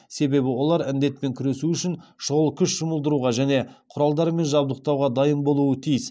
себебі олар індетпен күресу үшін шұғыл күш жұмылдыруға және құралдармен жабдықтауға дайын болуы тиіс